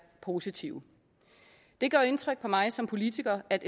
positive det gør indtryk på mig som politiker at